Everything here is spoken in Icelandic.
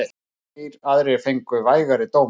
Þrír aðrir fengu vægari dóma.